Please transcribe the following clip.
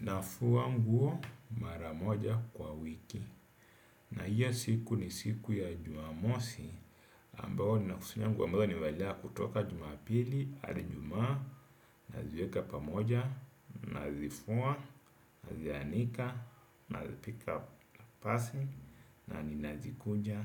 Nafua nguo mara moja kwa wiki. Na hiyo siku ni siku ya Jumamosi. Ambayo nina kusanya nguo ambazo nimevalia kutoka Jumapili hadi Ijumaa, naziweka pamoja, nazifua, nazianika, nazipiga pasi na ninazikuja,